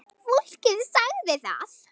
Fólkið sagði það.